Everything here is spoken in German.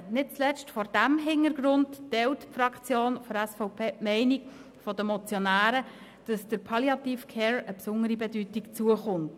Nicht zuletzt vor diesem Hintergrund teilt die Fraktion der SVP die Meinung der Motionäre, wonach der Palliative Care eine besondere Bedeutung zukommt.